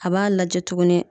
A b'a lajɛ tuguni